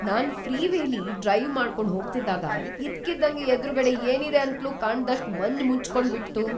ನಾನ್ ಫ್ರೀವೇಲಿ ಡ್ರೈವ್ ಮಾಡ್ಕೊಂಡ್ ಹೋಗ್ತಿದ್ದಾಗ ಇದ್ಕಿದ್ದಂಗೆ ಎದ್ರುಗಡೆ ಏನಿದೆ ಅಂತ್ಲೂ ಕಾಣ್ದಷ್ಟ್ ಮಂಜ್ ಮುಚ್ಕೊಂಡ್ಬಿಡ್ತು.